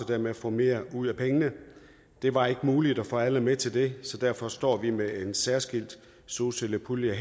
dermed få mere ud af pengene det var ikke muligt at få alle med til det så derfor står vi her med en særskilt solcellepulje og